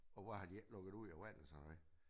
Og hvorfor har de ikke lukket det ud af vandet så